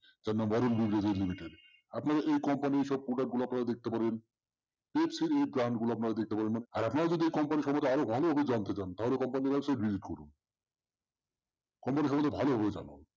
limited আপনারা এই company র সব product গুলো আপনারা দেখতে পারেন এই গুলো আপনারা দেখতে পারেন। আর আপনারা যদি এই সম্মন্ধে আরো ভালো ভাবে জানতে চান তাহলে company website visits করুন। company সম্মন্ধে ভালো ভাবে জানার